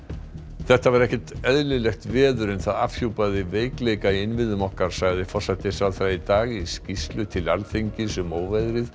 þetta var ekkert eðlilegt veður en það afhjúpaði veikleika í innviðum okkar sagði forsætisráðherra í dag í skýrslu til Alþingis um óveðrið